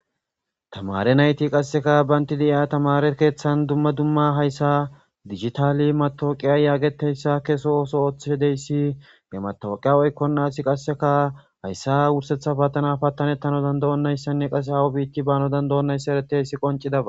tamare nayti qasseka baynti de7iya tamare keeththan dumma dumma hayssa digitaali matooqiya yaageteyssa keso ooso ooththedeyssi hematoqiya oykkonnasi qasseka hayssa wursetha patana pattanettano danda7onnayssanne qase awo biitti bano danda7onnayssa ereteyssi qoncidaba